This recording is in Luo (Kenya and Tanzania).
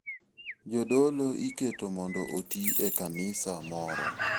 Jodolo iketo mondo oti e kanisa moro.